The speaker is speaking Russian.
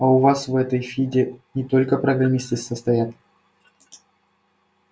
а у вас в этой фиде не только программисты состоят